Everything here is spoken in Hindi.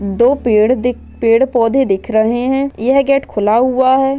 दो पेड़ पौधे दिख रहे हैं यह गेट खुला हुआ है।